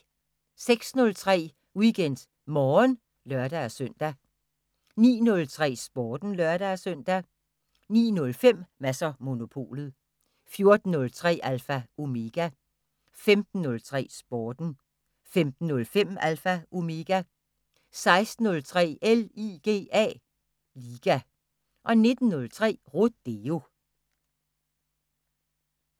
06:03: WeekendMorgen (lør-søn) 09:03: Sporten (lør-søn) 09:05: Mads & Monopolet 14:03: Alpha Omega 15:03: Sporten 15:05: Alpha Omega 16:03: LIGA 19:03: Rodeo